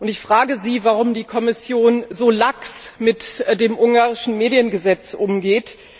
Ich frage Sie, warum die Kommission so lax mit dem ungarischen Mediengesetz umgeht.